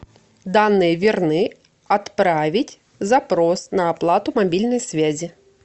данные верны отправить запрос на оплату мобильной связи